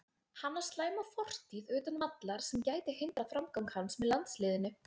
Hann á slæma fortíð utan vallar sem gæti hindrað framgang hans með landsliðinu.